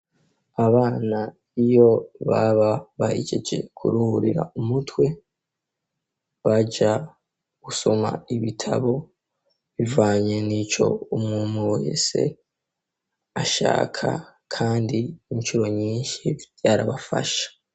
Abana iyo baba bahejeje kuruhurira umutwe baja gusoma ibitabo bivanye nico umuntu wese ashaka kandi incuro nyinshi vyarabafasha.